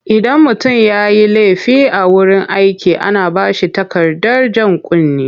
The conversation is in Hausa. Idan mutum ya yi laifi a wurin aiki ana ba shi takardar jan kunne,